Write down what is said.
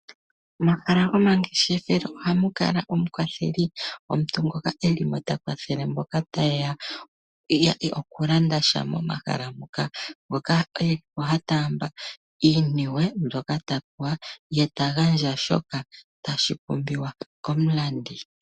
Momahala gomangeshefelo oha mu kala omukwatheli, omuntu ngoka hakala mo ta kwathele mboka taye ya okulanda sha momahala ngoka. Oha taamba iiniwe mbyoka ta pewa ye tagandja shoka tashi pumbiwa komulandi.